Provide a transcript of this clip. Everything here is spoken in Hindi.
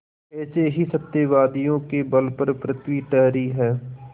ऐसे ही सत्यवादियों के बल पर पृथ्वी ठहरी है